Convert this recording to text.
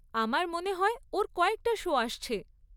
আমার মনে হয় ওর কয়েকটা শো আসছে।